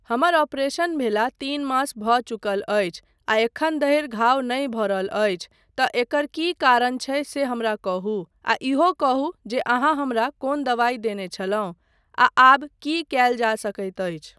हमर ऑपरेशन भेला तीन मास भऽ चुकल अछि आ एखन धरि घाव नहि भरल अछि तँ एकर की कारण छै से हमरा कहू आ इहो कहू जे अहाँ हमरा कोन दवाइ देने छलहुँ आ आब की कयल जा सकैत अछि।